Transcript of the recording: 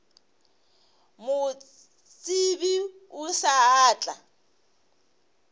mo tsebe o sa tla